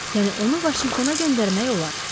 Yəni onu Vaşinqtona göndərmək olar.